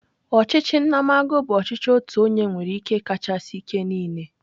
Ọchịchị nnamagụ bụ ọchịchị otu onye nwere ike kachasị ike niile.